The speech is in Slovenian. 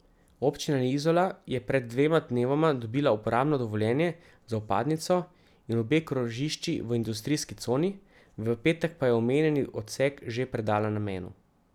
Občina Izola je pred dvema dnevoma dobila uporabno dovoljenje za vpadnico in obe krožišči v industrijski coni, v petek pa je omenjeni odsek že predala namenu.